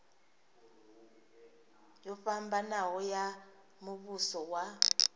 yo fhambanaho ya muvhuso wa